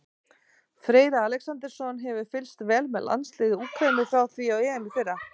Freyr Alexandersson hefur fylgst vel með landsliði Úkraínu frá því á EM í fyrra.